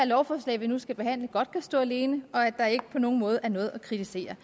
lovforslag vi nu skal behandle godt kan stå alene og at der ikke på nogen måde er noget at kritisere